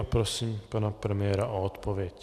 A prosím pana premiéra o odpověď.